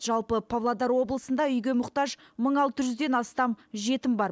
жалпы павлодар облысында үйге мұқтаж мың алты жүзден астам жетім бар